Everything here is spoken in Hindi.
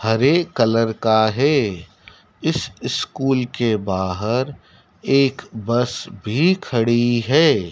हरे कलर का है इस स्कूल के बाहर एक बस भी खड़ी है।